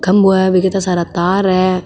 खम्बो है वो पे ईता सारा तार है।